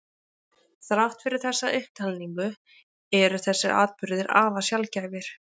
Þrátt fyrir þessa upptalningu eru þessir atburðir afar sjaldgæfir.